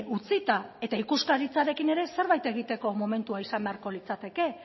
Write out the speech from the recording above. utzita eta ikuskaritzarekin ere zerbait egiteko momentua izan beharko litzateke